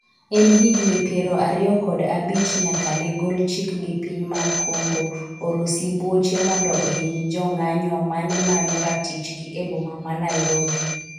en higni piero ariyo kod abich nyaka ne gol chik gi piny mar Kongo oro sibuoche mondo ohiny jong'anyo manemanyo ratichgi e boma ma Nairobi